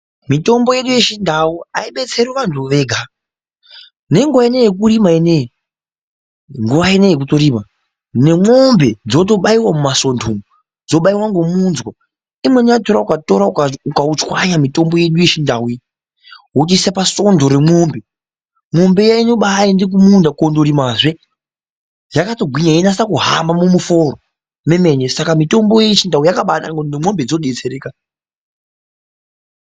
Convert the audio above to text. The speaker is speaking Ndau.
Mitombo yedu yechindau aidetseri vantu vega nenguva ineyi yekurima ineyi nguva ineyi yekutorima nemwombe dzinotobaiwa mumasondo umwu dzobaiwa ngomunzwa umweni wachona ukautora ukauchwanya mitombo ino yechindau uchiise pasondo remwombe mwombe iya inobaenda kumunda korimahe yakatogwinya yeinase kuhamba mumuforo mwemene saka mitombo yedu yechiantu yakabanaka ngekuti nemwombe dzinodetserekawo.